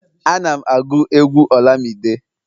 Ana'm agụ egwu olamide